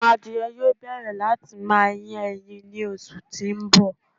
Awọn àdìẹ̀ yóò bẹ̀rẹ̀ láti má yín èyín ní òṣù tí n bọ̀.